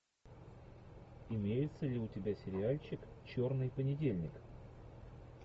имеется ли у тебя сериальчик черный понедельник